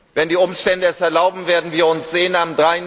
Wenn die Umstände es erlauben, werden wir uns am